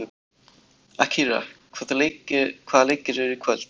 Akira, hvaða leikir eru í kvöld?